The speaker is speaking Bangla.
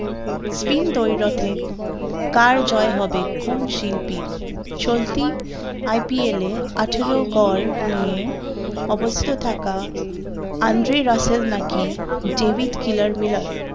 স্পিন দৈরথে কার জয় হবে কোন শিল্পীর চলতি IPL এ আঠারো গড় নিয়ে অবস্থিত থাকা আন্দ্রে রাসেল নাকি ডেভিড কিলার মিলার